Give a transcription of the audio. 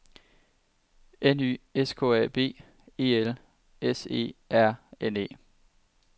N Y S K A B E L S E R N E